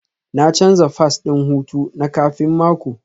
Na canza fass ɗin hutu na kafin mako